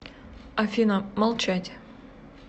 афина молчать